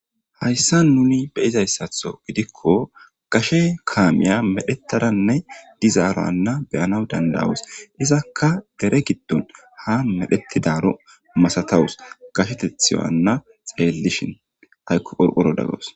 Haysan nun beyizaysatho gidikon gashe kamiya medhetadanne dizarana beyanaw danda'os. Izaka dere gidon han medhetidro masatawus. Gashwtethiyo xelishn aykko qorqorada gawus.